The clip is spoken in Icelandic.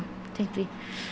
tengt því